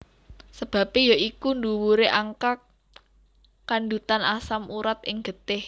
Sebabe ya iku dhuwure angka kandhutan asam urat ing getih